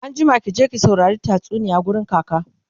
anjima ki je ki saurari tatsuniya wurin kaka!